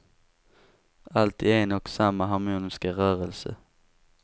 Allt i en och samma harmoniska rörelse.